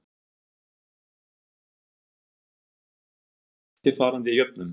Þessu efnajafnvægi má lýsa með eftirfarandi jöfnum